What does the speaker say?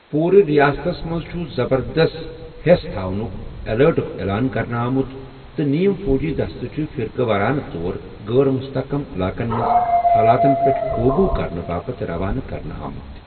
پوٗرٕ رِیاستس منٛز چُھ زبردست ہیس تھونٗك ایٚلٲرٹُک اعلان کرنہٕ آمُت تہٕ نیم فوجی دستہٕ چھِ فِرقہٕ وارانہٕ طور غٲر مُستحکم علاقن منز حالاتن پیٹھ قوبوٗ كرنہٕ باپت روانہٕ كرنہٕ آمٕتۍ ۔